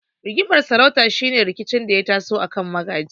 Rigimar sarauta shine rikici da ya taso akan magaji.